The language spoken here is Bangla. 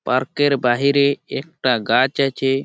পার্কের বাহিরে একটা গাছ আছে ।